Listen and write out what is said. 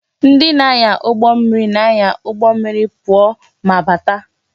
Ndị na-anya ụgbọ mmiri na-anya ụgbọ mmiri pụọ ma bata